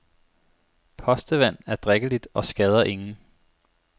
Postevand er drikkeligt og skader ingen.